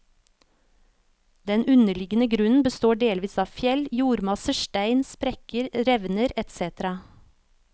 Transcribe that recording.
Den underliggende grunnen består delvis av fjell, jordmasser, stein, sprekker, revner etc.